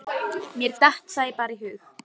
Mér datt það bara í hug.